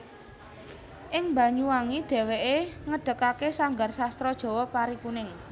Ing Banyuwangi dhèwèké ngedegake sanggar sastra Jawa Parikuning